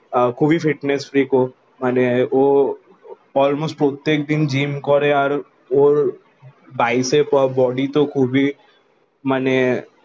খুবই fitness freak ও মানে ও অলমোস্ট প্রত্যেক দিন জিম করে আর ওর বাইসেপ আর বডি তো খুবই মানে